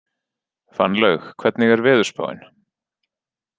Fannlaug, hvernig er veðurspáin?